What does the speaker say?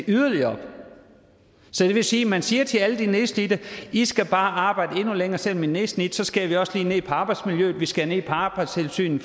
yderligere det vil sige at man siger til alle de nedslidte i skal bare arbejde endnu længere selv om i er nedslidte så skærer vi også lige ned på arbejdsmiljøet og vi skærer ned på arbejdstilsynet